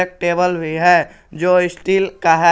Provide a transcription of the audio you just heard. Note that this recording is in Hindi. टेबल भी है जो स्टील का है।